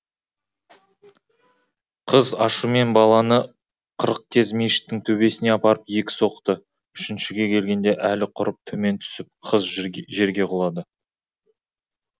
қыз ашумен баланы қырық кез мешіттің төбесіне апарып екі соқты үшіншіге келгенде әлі құрып төмен түсіп қыз жерге құлады